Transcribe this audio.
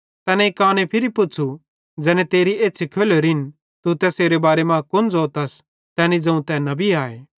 तैनेईं काने फिरी पुच़्छ़ू ज़ैने तेरी एछ़्छ़ी खोलोरेन तू तैसेरे बारे मां कुन ज़ोतस तैनी ज़ोवं तै नबी आए